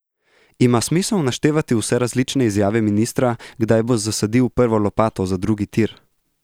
Ima smisel naštevati vse različne izjave ministra, kdaj bo zasadil prvo lopato za drugi tir?